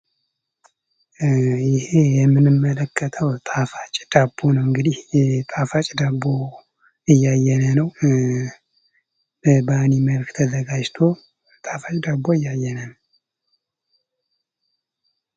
ይህ የምንመለከተው ጣፋጭ ዳቦ ነው እንግዲህ ጣፋጭ ዳቦ እያየን ነው። በባኒ መልክ ተዘጋጅቶ ጣፋጭ ደቦ እያየን ነው።